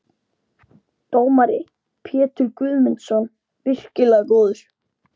Dómari: Pétur Guðmundsson- virkilega góður.